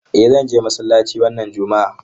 Eh zan zo masallaci wannan juma'a.